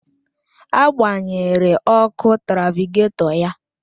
Agbanyere ọkụ trafịgatọ ya